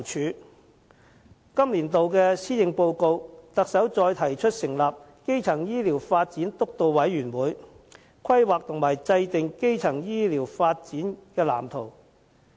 在今年度的施政報告，特首再提出成立基層醫療健康發展督導委員會，規劃及制訂基層醫療發展藍圖。